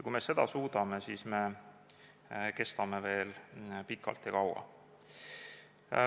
Kui me seda suudame, siis me kestame veel pikalt ja kaua.